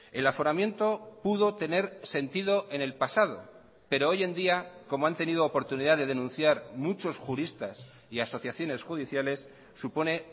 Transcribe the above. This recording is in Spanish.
el aforamiento pudo tener sentido en el pasado pero hoy en día como han tenido oportunidad de denunciar muchos juristas y asociaciones judiciales supone